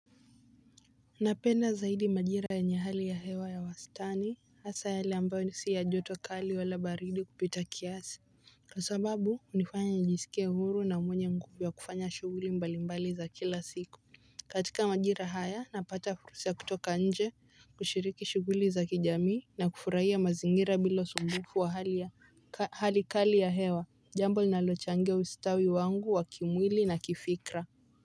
Napenda zaidi majira yenye hali ya hewa ya wastani hasa hali ambayo ni si ya joto kali wala baridi kupita kiasi. Kwa sababu hunifanya njisike huru na mwenye nguvu ya kufanya shughuli mbalimbali za kila siku. Katika majira haya, napata furusi ya kutoka nje kushiriki shughuli za kijami na kufurahia mazingira bila usumbufu wa hali ya hali kali ya hewa jambo linalochangia ustawi wangu wa kimwili na kifikra.